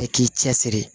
Bɛɛ k'i cɛ siri